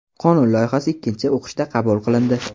Qonun loyihasi ikkinchi o‘qishda qabul qilindi.